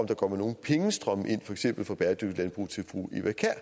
der kommer nogen pengestrømme ind for eksempel fra bæredygtigt landbrug til fru